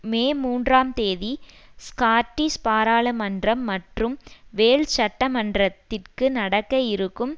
மே மூன்றாம் தேதி ஸ்காட்டிஷ் பாராளுமன்றம் மற்றும் வேல்ஷ் சட்ட மன்றத்திற்கு நடக்க இருக்கும்